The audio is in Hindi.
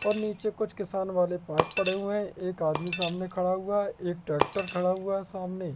और नीचे कुछ किसान वाले पात पड़े हुए हैं एक आदमी सामने खड़ा हुआ है एक ट्रैक्टर खड़ा हुआ है सामने।